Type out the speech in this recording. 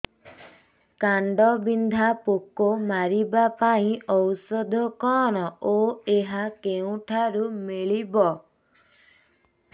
କାଣ୍ଡବିନ୍ଧା ପୋକ ମାରିବା ପାଇଁ ଔଷଧ କଣ ଓ ଏହା କେଉଁଠାରୁ ମିଳିବ